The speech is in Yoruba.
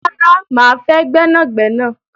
Rara, máa fẹ́ gbẹ́nàgnẹ́nà